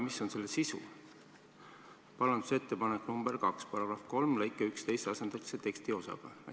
Pean silmas punkti 2, mis ütleb, et § 3 lõikes 11 asendatakse üks tekstiosa teisega.